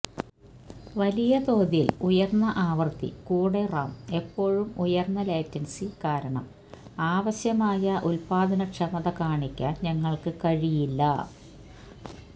വലിയ തോതിൽ ഉയർന്ന ആവൃത്തി കൂടെ റാം എപ്പോഴും ഉയർന്ന ലേറ്റൻസി കാരണം ആവശ്യമായ ഉത്പാദനക്ഷമത കാണിക്കാൻ ഞങ്ങൾക്ക് കഴിയില്ല